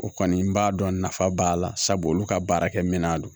O kɔni n b'a dɔn nafa b'a la sabu olu ka baarakɛminɛn don